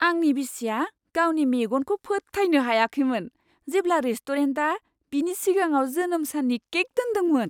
आंनि बिसिया गावनि मेगनखौ फोथायनो हायाखैमोन जेब्ला रेस्ट'रेन्टआ बिनि सिगाङाव जोनोम साननि केक दोनदोंमोन।